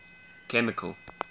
chemical